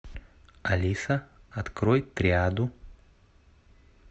алиса открой триаду